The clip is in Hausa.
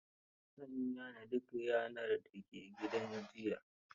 An yane duk yanar da ke gidan jiya.